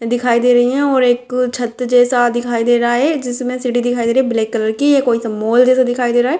दिखाई दे रही है और एक छत जैसा दिखाई दे रहा है जिसमे सीढ़ी दिखाई दे रही है ब्लैक कलर की मॉल जैसा दिखाई दे रहा है।